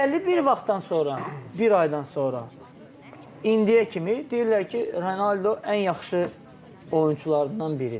Bəlli bir vaxtdan sonra, bir aydan sonra indiyə kimi deyirlər ki, Ronaldo ən yaxşı oyunçulardan biridir.